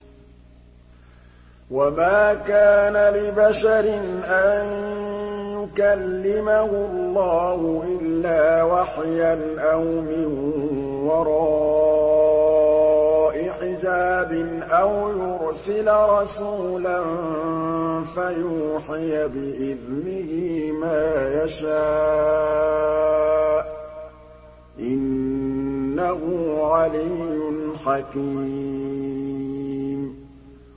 ۞ وَمَا كَانَ لِبَشَرٍ أَن يُكَلِّمَهُ اللَّهُ إِلَّا وَحْيًا أَوْ مِن وَرَاءِ حِجَابٍ أَوْ يُرْسِلَ رَسُولًا فَيُوحِيَ بِإِذْنِهِ مَا يَشَاءُ ۚ إِنَّهُ عَلِيٌّ حَكِيمٌ